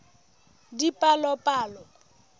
dipalopalo